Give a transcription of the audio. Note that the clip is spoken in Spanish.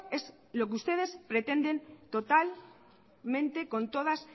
es lo que ustedes pretenden totalmente con todas